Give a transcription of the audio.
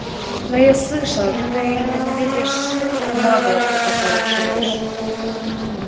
но я слышал ты ненавидишь ээ маглов у которых живёшь